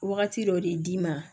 Wagati dɔ de d'i ma